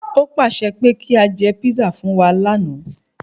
Ó pàṣẹ pé kí a jẹ písà fún wa lànà